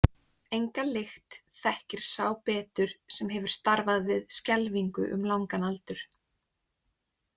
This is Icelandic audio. Enga lykt þekkir sá betur sem hefur starfað við skelfingu um langan aldur.